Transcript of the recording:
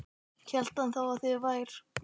Hélt hann þá að þið vær